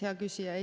Hea küsija!